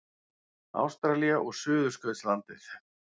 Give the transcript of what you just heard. Ástralía og Suðurskautslandið.